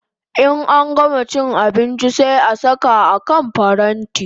In an gama abinchi sai a saka a kan paranti